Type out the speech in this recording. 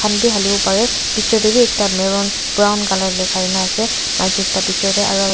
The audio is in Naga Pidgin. khan bhi hali bo pare picture teh bhi ekta marron brown colour likhai na ase maiki ekta picture te aru.